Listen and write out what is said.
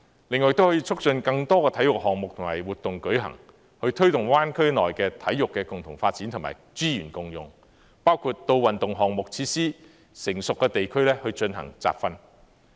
另外亦可促進更多體育項目和活動舉行，推動灣區內體育的共同發展和資源共用，包括到運動項目設施成熟的地區進行集訓。